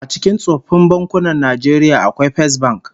A cikin tsoffin bankunan Najeriya akwai Fesbank